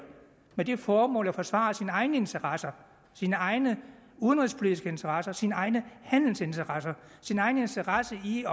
med det formål at forsvare sine egne interesser sine egne udenrigspolitiske interesser sine egne handelsinteresser sin egen interesse i